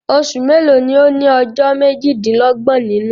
Osù mélòó ni ó ní ọjọ́ méjì-dín-lọ́gbọ̀n nínú?